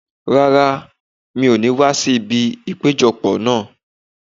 Rárá, mi ò ní wá sí ibi ìpéjọ pọ̀ náà.